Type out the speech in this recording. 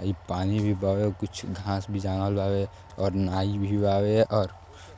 अइ पानी भी बावे। कुछ घाँस भी जामल बावे और नाई भी बावे और